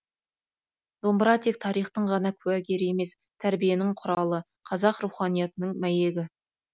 домбыра тек тарихтың ғана куәгері емес тәрбиенің құралы қазақ руханиятының мәйегі